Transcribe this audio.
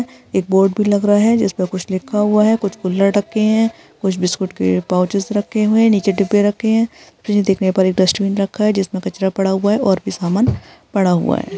एक बोर्ड भी लग रहा है जिसमें कुछ लिखा हुआ है कुछ खुल्द रखे हैं कुछ बिस्कुट के पूओंचेस रखे हुए नीचे डिब्बे रखे हैं देखने पर एक डस्टबिन रखा है जिसमें कचरा पड़ा हुआ है और भी सामान पड़ा है।